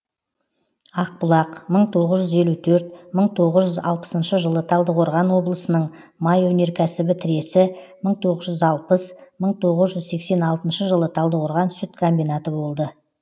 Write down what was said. ақбұлақ мың тоғыз жүз елу төрт мың тоғыз жүз алпысыншы жылы талдықорған облысының май өнеркәсібі тресі мың тоғыз жүз алпыс мың тоғыз жүз сексен алтыншы жылы талдықорған сүт комбинаты болды